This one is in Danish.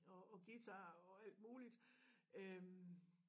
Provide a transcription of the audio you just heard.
Og og guitar og alt muligt øh